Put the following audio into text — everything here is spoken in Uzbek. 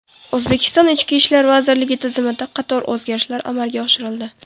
O‘zbekiston Ichki ishlar vazirligi tizimida qator o‘zgarishlar amalga oshirildi.